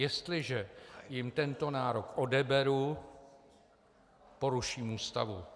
Jestliže jim tento nárok odeberu, poruším Ústavu.